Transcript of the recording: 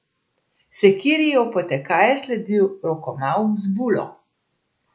Sekiri je opotekaje sledil rokomavh z bulo.